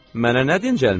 Mənə nə dincəlmək?